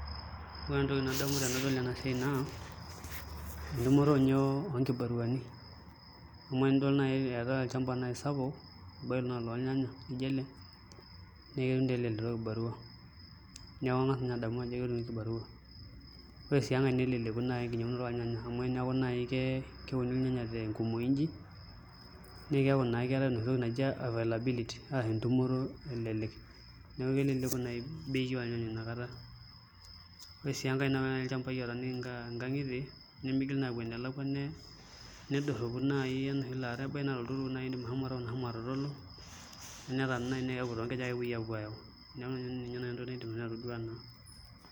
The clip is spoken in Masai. Ore entoki nadamu tenadol ene siai naa entumoto ninye oonkibariani amu enidol naai eetai olchamba sapuk ebaiki naa olornyanya lijio ele naa kelelek entumoto ekibarua neeku kanga's ninye adamu ajo ketumi kibarua ore sii enkae neleleku naai enkinyiang'unoto ornyanya amu teneeku naai keuni ilnyanya tenkujoi inji naa keeku naa keetai enoshi toki naji availability arashu entumoto elelek neeku keleleku naai bei ornyanya ina kata ore sii enkae ilchambai ootaaniki nkang'itie nemigili naa aapuo enelakua nedorropo amu ebaiki naa toltukutuk oshi iindim ashomo taon ashomo atatalu, neeku toonkejek ake epuoi aapuo aayau, neeku ina naai nanu entoki naidim atodua naa.